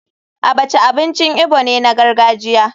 Abacha abincin igbo ne na gargajiya.